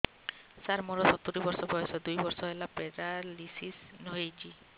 ସାର ମୋର ସତୂରୀ ବର୍ଷ ବୟସ ଦୁଇ ବର୍ଷ ହେଲା ପେରାଲିଶିଶ ହେଇଚି